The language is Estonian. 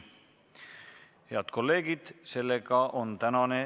Head kolleegid, tänane istung on lõppenud.